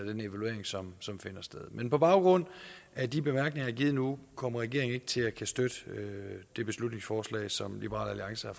den evaluering som som finder sted men på baggrund af de bemærkninger jeg har givet nu kommer regeringen ikke til at kunne støtte det beslutningsforslag som liberal alliance har